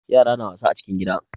Yara na wasa a cikin gida.